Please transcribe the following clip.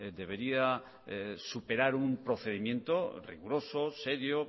debería superar un procedimiento riguroso serio